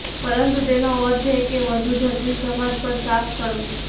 પરંતુ તેનો અર્થ એ કે વધુ જટિલ સમાજ પર સાફ કરવું